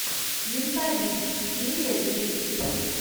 менталист серия десять